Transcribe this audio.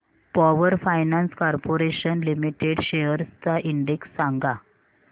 power finance corporation limited shares चा index सांगा